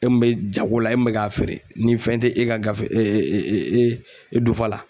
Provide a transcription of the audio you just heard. E mun bɛ jago la e min bɛ k'a feere ni fɛn tɛ e ka gafe e dufa la.